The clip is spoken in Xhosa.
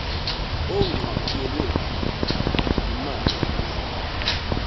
onqatyelwe yimali ukuba